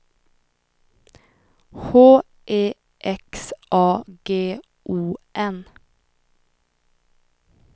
H E X A G O N